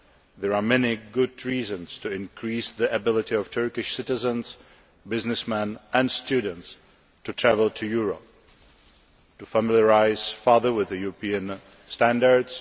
There are many good reasons to increase the ability of Turkish citizens, businessmen and students to travel to Europe to familiarise themselves further with European standards